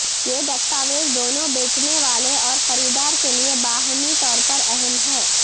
یہ دستاویز دونوں بیچنے والے اور خریدار کے لئے باہمی طور پر اہم ہے